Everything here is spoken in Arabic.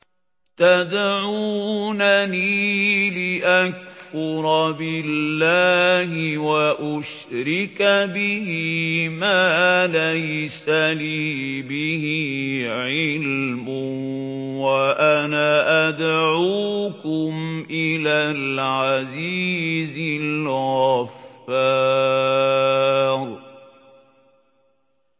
تَدْعُونَنِي لِأَكْفُرَ بِاللَّهِ وَأُشْرِكَ بِهِ مَا لَيْسَ لِي بِهِ عِلْمٌ وَأَنَا أَدْعُوكُمْ إِلَى الْعَزِيزِ الْغَفَّارِ